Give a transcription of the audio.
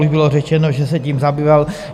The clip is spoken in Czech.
Už bylo řečeno, že se tím zabýval.